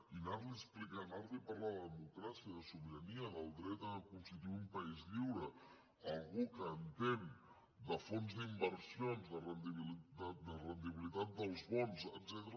i anar li a explicar anar li a parlar de democràcia de sobirania del dret a constituir un país lliure a algú que entén de fons d’inversions de rendibilitat dels bons etcètera